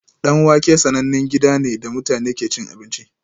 Danwake sanannen gida ne da mutane ke cin abinci